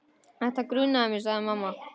Þetta grunaði mig, sagði mamma.